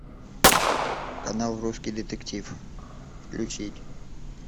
канал русский детектив включить